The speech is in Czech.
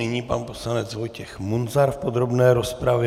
Nyní pan poslanec Vojtěch Munzar v podrobné rozpravě.